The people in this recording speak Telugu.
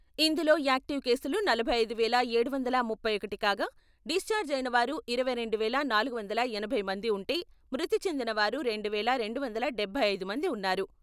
ఇందులో యాక్టివ్ కేసులు నలభై ఐదు వేల ఏడు వందల ముప్పై ఒకటి కాగా డిశ్చార్జ్ అయిన వారు ఇరవై రెండు వేల నాలుగు వందల ఎనభై మంది ఉంటే మృతి చెందిన వారు రెండు వేల రెండు వందల డబ్బై ఐదు మంది ఉన్నారు.